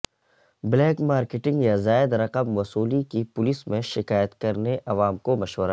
black marketing یا زائد رقم وصولی کی پولیس میں شکایت کرنے عوام کو مشورہ